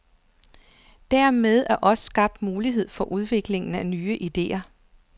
Dermed er der også skabt mulighed for udviklingen af nye idéer.